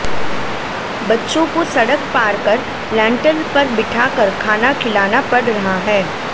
बच्चों को सड़क पार कर लैंटल पर बिठा कर खाना खिलाना पड़ रहा है